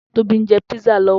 Tobi n jè pizza lòwò